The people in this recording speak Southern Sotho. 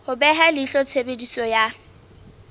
ho beha leihlo tshebediso ya